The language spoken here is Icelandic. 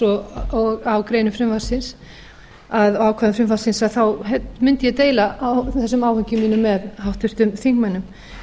og á greinum frumvarpsins og ákvæðum frumvarpsins mundi ég deila þessum áhyggjum mínum með háttvirtum þingmönnum